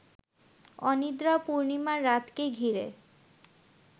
অনিদ্রা পূর্ণিমার রাতকে ঘিরে